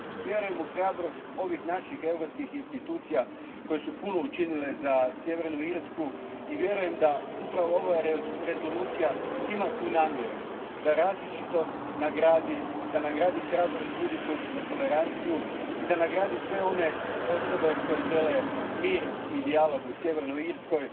Vjerujem u hrabrost ovih naših europskih institucija koje su puno učinile za Sjevernu Irsku i vjerujem da upravo ova rezolucija ima tu namjeru da nagradi različitost, da nagradi hrabrost ljudi koji su za toleranciju i da nagradi sve one osobe koje žele mir i dijalog u Sjevernoj Irskoj.